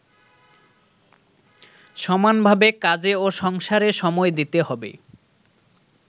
সমানভাবে কাজে ও সংসারে সময় দিতে হবে।